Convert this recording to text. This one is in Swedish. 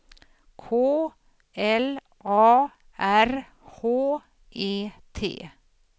K L A R H E T